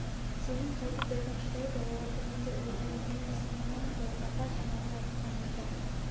сенің қайтып дәтің шыдайды оларды мен де ойлаймын мен де сағынамын ғой апа жаңағы айтқан екі